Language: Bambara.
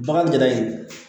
Bagan ɲaga in